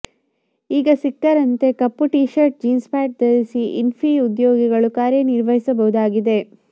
ಈಗ ಸಿಕ್ಕಾರಂತೆ ಕಪ್ಪು ಟೀ ಶರ್ಟ್ ಜೀನ್ಸ್ ಪ್ಯಾಂಟ್ ಧರಿಸಿ ಇನ್ಫಿ ಉದ್ಯೋಗಿಗಳು ಕಾರ್ಯ ನಿರ್ವಹಿಸಬಹುದಾಗಿದೆ